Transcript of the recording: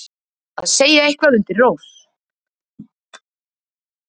Að segja eitthvað undir rós